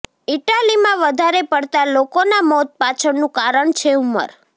ઈટાલીમાં વધારે પડતા લોકોના મોત પાછળનું કારણ છે ઉંમર